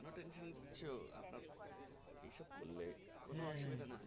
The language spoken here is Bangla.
কেনো tension নিছো আপনার এই সব করলে কোনো অসুবিধা নাই